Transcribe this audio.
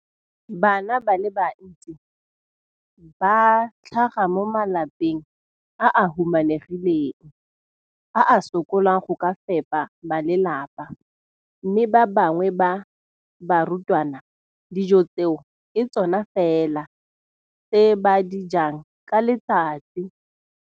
Bana ba le bantsi ba tlhaga mo malapeng a a humanegileng a a sokolang go ka fepa ba lelapa mme ba bangwe ba barutwana, dijo tseo ke tsona fela tse ba di jang ka letsatsi.